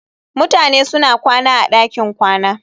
Mutane suna kwana a ɗakin kwana